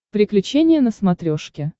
приключения на смотрешке